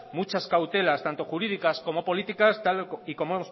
muchas cautelas tanto jurídicas como políticas tal y como